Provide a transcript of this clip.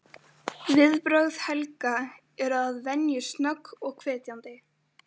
Viðbrögð Helga eru að venju snögg og hvetjandi.